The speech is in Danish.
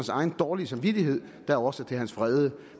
egen dårlige samvittighed der er årsag til hans vrede